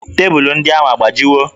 Tebụlụ ndị ahụ a gbajiwo?